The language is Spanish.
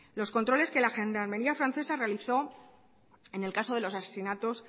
los controles que la gendarmería francesa realizó en el caso de los asesinatos